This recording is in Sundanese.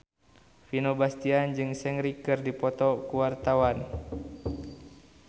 Vino Bastian jeung Seungri keur dipoto ku wartawan